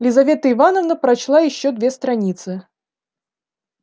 лизавета ивановна прочла ещё две страницы